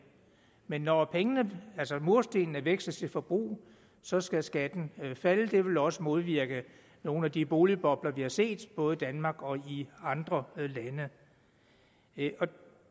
men når murstenene veksles til forbrug så skal skatten falde det vil også modvirke nogle af de boligbobler vi har set både i danmark og i andre lande